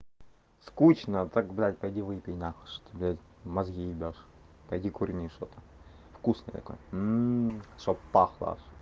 скучно тогда пойди выпей нахуй что ты блядь мозги ебёшь пойди курни что-то вкусное такое чтобы пахло аж